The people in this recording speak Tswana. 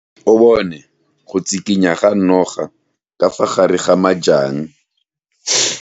O bone go tshikinya ga noga ka fa gare ga majang.